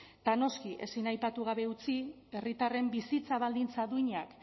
eta noski ezin aipatu gabe utzi herritarren bizitza baldintza duinak